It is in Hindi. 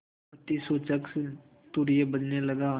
आपत्तिसूचक तूर्य बजने लगा